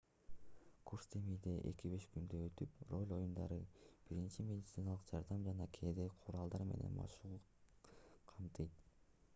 курс демейде 2-5 күндө өтүп роль оюндарын биринчи медициналык жардам жана кээде куралдар менен машыгууну камтыйт